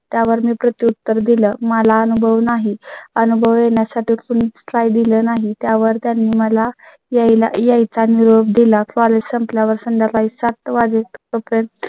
त्यावर मी प्रत्युत्तर दिलं. मला अनुभव नाही. अनुभव घेण्या साठी कुणी try दिले नाही. त्यावर त्यांनी मला यायला याय चा निरोप दिला. College संपल्या वर संध्याकाळी सातवाजेपर्यंत